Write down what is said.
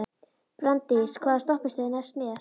Branddís, hvaða stoppistöð er næst mér?